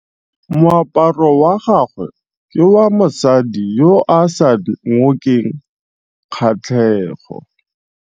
Moaparô wa gagwe ke wa mosadi yo o sa ngôkeng kgatlhegô.